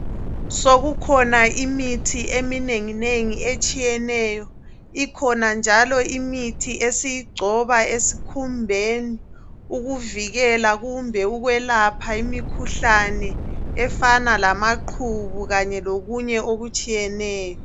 Sokukhona imithi eminenginengi etshiyeneyo, ikhona njalo imithi esiyigcoba esikhumbeni ukuvikela kumbe ukwelapha imikhuhlane efana lamaqhubu kanye kokunye okutshiyeneyo.